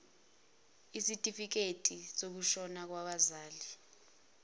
ezitifiketi zokushona kwabazali